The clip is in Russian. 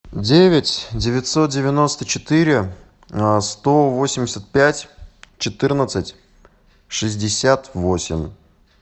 девять девятьсот девяносто четыре сто восемьдесят пять четырнадцать шестьдесят восемь